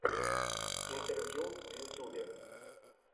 интервью в ютубе